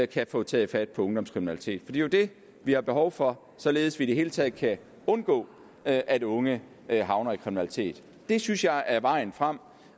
kan få taget fat på ungdomskriminaliteten for er jo det vi har behov for således at vi i det hele taget kan undgå at at unge havner i kriminalitet det synes jeg er vejen frem